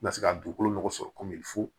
N ka se ka dugukolo nɔgɔ sɔrɔ komi fo